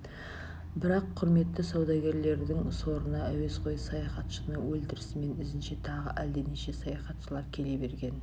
бірақ құрметті саудагерлердің сорына әуесқой саяхатшыны өлтірісімен ізінше тағы әлденеше саяхатшылар келе берген